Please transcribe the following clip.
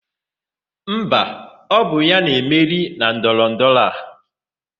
Mba, ọ bụ ya na-emeri na ndọrọndọrọ a.